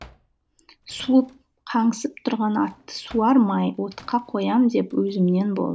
суып қаңсып тұрған атты суармай отқа қоям деп өзімнен